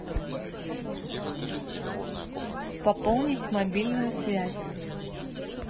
пополнить мобильную связь